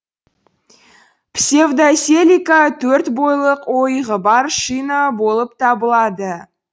псевдоселика төрт бойлық ойығы бар шина болып табылады